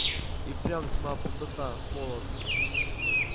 и впрямь тьма пустота холод